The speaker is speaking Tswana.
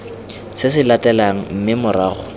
se se latelang mme morago